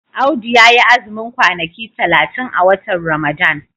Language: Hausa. Audu ya yi azumin kwanaki talatin a watan Ramadan.